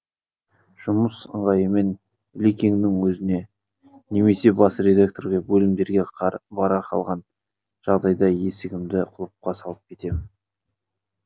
жұмыс ыңғайымен ілекеңнің өзіне немесе бас редакторға бөлімдерге бара қалған жағдайда есігімді құлыпқа салып кетем